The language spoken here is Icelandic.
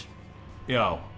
já